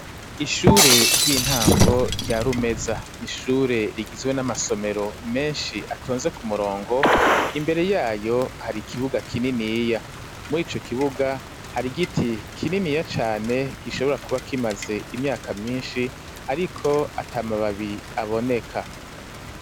Ishure ry'intango rya rumeza nishure rigizwe n'amasomero menshi atonze ku murongo imbere yayo hari ikibuga kininiya muri ico kibuga hari giti kininiya cane kishobora kuba kimaze imyaka myinshi ariko atamababi aboneka.